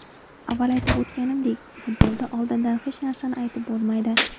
Avval aytib o‘tganimdek, futbolda oldindan hech narsani aytib bo‘lmaydi.